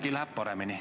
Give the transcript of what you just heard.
Äkki läheb paremini.